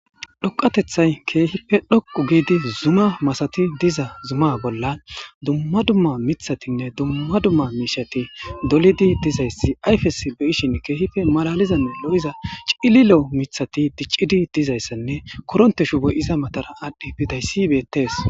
Dhoqatethtay keehipe dhoqu giidi zuma masati diza zuma bollan dumma dummamiththatinne dumma dumma miishshati dolidi dizayssi ayfesi keehipe malaalizanne lo7iza cililo maatati diccidi dizayssanne korontte shuboy iza matara aadhi bizayssi betees.